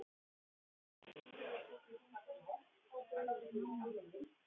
Það þurfti einhver að strjúka honum og klappa.